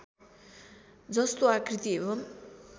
जस्तो आकृति एवम्